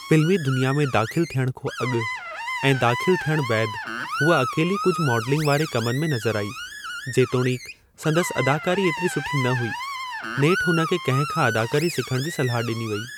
फिल्मी दुनिया में दाख़िल थियणु खां अॻु ऐं दाख़िल थियणु बैदि, हूअ अकेली कुझु मॉडलिंग वारे कमनि में नज़रु आई। जेतोणीकि संदसि अदाकारी एतिरी सुठी न हुई। नेठि हुन खे कंहिं खां अदाकारी सिखण जी सलाह डि॒नी वेई।